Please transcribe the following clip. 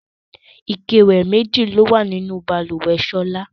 Ike-ìwẹ̀ méjì ni ó wà nínú balùwẹ̀ Ṣọlá.